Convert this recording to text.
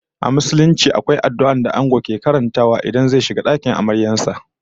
A Musulunci akwai addu'ar da Ango yake karantawa ranar da ya fara shiga dakin amaryar sa